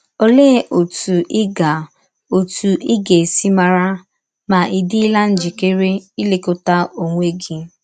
Ọlee ọtụ ị ga ọtụ ị ga - esi mara ma ị̀ dịla njịkere ilekọta ọnwe gị?